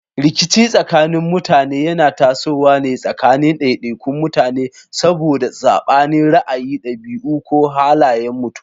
Rikici tsakanin mutane yana tasowa tsakanin daidaikun mutane saboda sabanin ra'ayi, dabi'u, ko halayen mutum.